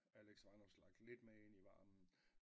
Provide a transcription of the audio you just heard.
Alex Vanopslagh lidt med ind i varmen